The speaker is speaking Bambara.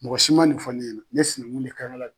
Mɔgɔ si ma nin fɔ ne ɲɛnɛ ye ne sinɛnkun ne kankala ye